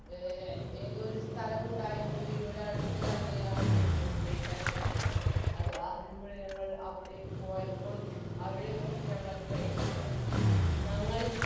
A ഏതോ ഒരു സ്ഥലമുണ്ടായിരുന്നു ഇവിടെ അടുത്തുതന്നെയാണ് എനിക്കോർമ്മയില്ല ഷെമിക്കണം അത് ഞങ്ങൾ അവിടേക്ക് പോയപ്പം അവിടെ നിന്നും ഞങ്ങൾ train കെയറി